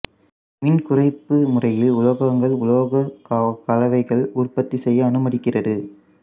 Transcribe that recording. மின்குறைப்பு முறையில் உலோகங்கள் உலோக கலவைகளை உற்பத்தி செய்ய அனுமதிக்கிறது